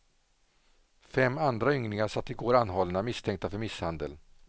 Fem andra ynglingar satt igår anhållna, misstänkta för misshandel.